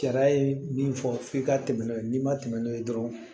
Sariya ye min fɔ f'i ka tɛmɛ n'o ye n'i ma tɛmɛ n'o ye dɔrɔn